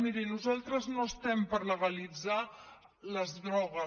miri nosaltres no estem per legalitzar les drogues